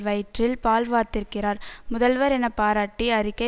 வயிற்றில் பால் வார்த்திருக்கிறார் முதல்வர் என பாராட்டி அறிக்கை